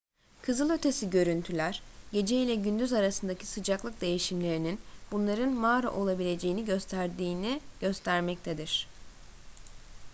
kızılötesi görüntüler gece ile gündüz arasındaki sıcaklık değişimlerinin bunların mağara olabileceğini gösterdiğini göstermektedir